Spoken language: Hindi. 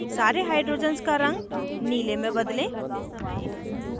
* सारे hydrogens का रंग नीले में बदलें